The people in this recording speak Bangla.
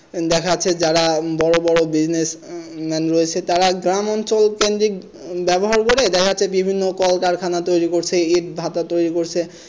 দেখা যাচ্ছে যারা বড় বড় Business man রয়েছে তারা গ্রামাঞ্চল কেন্দ্রিক ব্যবহার করে দেখা যাচ্ছে বিভিন্ন কলকারখানা তৈরি করছে ইটভাটা তৈরি করছে,